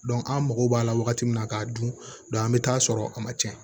an mago b'a la wagati min na k'a dun an mi taa sɔrɔ a ma cɛn